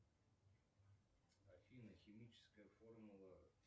афина химическая формула